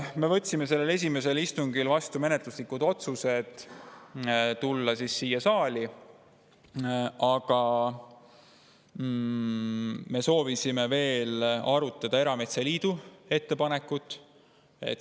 Me võtsime sellel esimesel istungil vastu menetlusliku otsuse, et tulla siia saali, aga me soovisime veel arutada erametsaliidu ettepanekut.